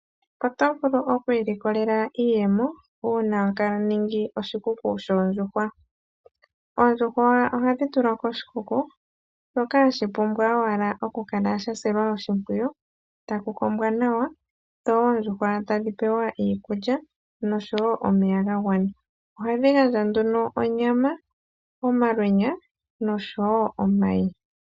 Oto vulu oku ilikolela iiyemo uuna toningi oshikuku shoondjuhwa. Oondjuhwa ohadhi tulwa koshikuku shoka hashi pumbwa owala oku kala hashi silwa oshimpwiyu taku kombwa nawa dho oondjuhwa tadhi pewa iikulya oshowo omeya ga gwana. Ohadhi gandja nduno onyama, omalweenya noshowo omayi.